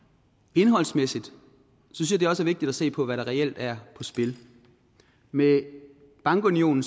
indholdsmæssigt synes jeg også vigtigt at se på hvad der reelt er på spil med bankunionen